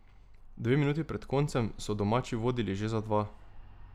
Dve minuti pred koncem so domači vodili že za dva.